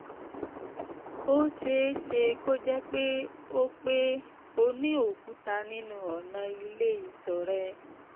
ó ṣe é ṣe kó jẹ́ pé o pé o ní òkúta nínú ọ̀nà ilé ìtọ̀ rẹ